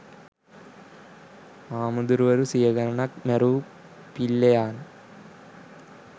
හාමුදුරුවරු සියගනනක් මෑරු පිල්ලෙයාන්